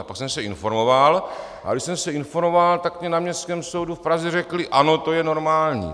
A pak jsem se informoval, a když jsem se informoval, tak mi na Městském soudu v Praze řekli "ano, to je normální".